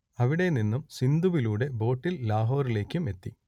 അവിടെനിന്നും സിന്ധുവിലൂടെ ബോട്ടിൽ ലാഹോറിലേക്കും എത്തി